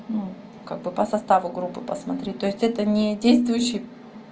ну как бы по составу группы посмотри то есть это недействующий